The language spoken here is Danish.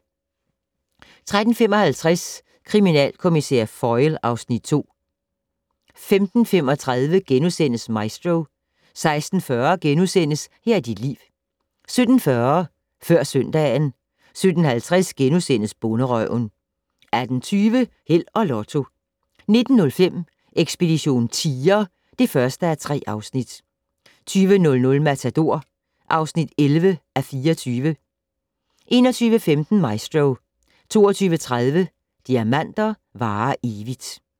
13:55: Kriminalkommissær Foyle (Afs. 2) 15:35: Maestro * 16:40: Her er dit liv * 17:40: Før søndagen 17:50: Bonderøven * 18:20: Held og Lotto 19:05: Ekspedition tiger (1:3) 20:00: Matador (11:24) 21:15: Maestro 22:30: Diamanter varer evigt